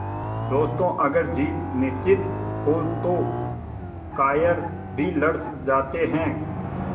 दोस्तों अगर जीत निश्चित हो तो कायर भी लड़ जाते हैं